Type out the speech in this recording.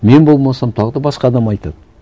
мен болмасам тағы да басқа адам айтады